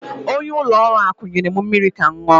Onye ulo oru akụ nyerem mmiri Kam nnu